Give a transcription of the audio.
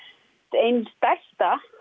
ein stærsta